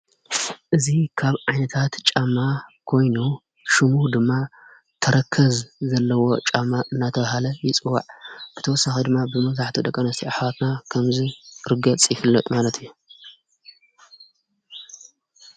እዙ ኻብ ዓይንታት ጫማ ጐይኑ ሹሙኅ ድማ ተረከዝ ዘለዎ ጫማ እናተዉሃለ ይፅዋዕ ብተወሳኽ ድማ ብመዙሕቶ ደቀኖዝቲኣኅዋትና ከምዝ ርገ ጽይፍልነጥ ማለት እየ።